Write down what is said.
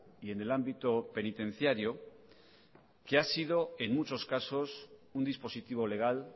y en el ámbito penitenciario que ha sido en muchos casos un dispositivo legal